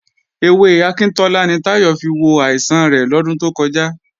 Ewé akíntọ́lá ni Táyọ̀ fi wo àìsàn rẹ̀ lọ́dún tó kọjá